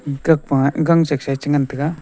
pa gang shaksae chengan taiga.